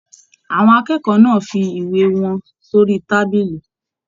Àwọn akẹ́kọ̀ọ́ náà fí ìwé wọn sori tábìlì.